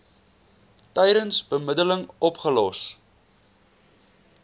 tydens bemiddeling opgelos